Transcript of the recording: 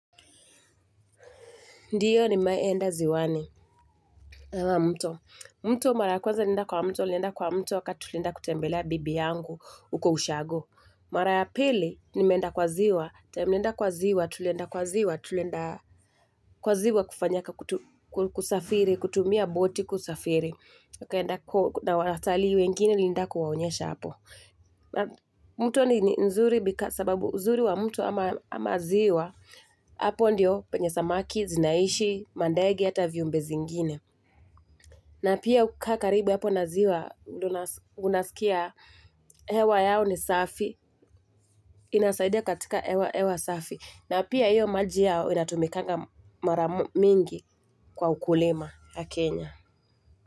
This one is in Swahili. Ndio nimewahi enda ziwani ama mto. Mto mara ya kwanza nilienda kwa mto, nilienda kwa mto wakati tulienda kutembelea bibi yangu huko ushago. Mara ya pili, nimeenda kwa ziwa, time nilienda kwa ziwa, tulienda kwa ziwa, tulienda kwa ziwa kufanya kusafiri, kutumia boti kusafiri. Na watalii wengine, nilienda kuwaonyesha hapo. Na mto ni nzuri sababu uzuri wa mto ama ziwa Hapo ndiyo penye samaki, zinaishi, mandege hata viumbe zingine na pia hukaa karibu hapo na ziwa ndio unasikia hewa yao ni safi, inasaidia katika hewa, hewa safi na pia hiyo maji yao inatumikanga mara mingi kwa ukulima ya Kenya.